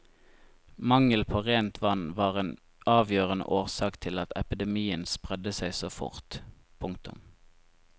Mangel på rent vann var en avgjørende årsak til at epidemien spredte seg så fort. punktum